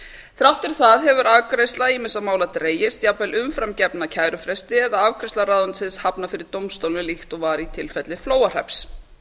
þrátt fyrir það hefur afgreiðsla ýmissa mála dregist jafnvel umfram gefna kærufresti eða afgreiðsla ráðuneytisins hafnað fyrir dómstólum líkt og í tilfelli flóahrepps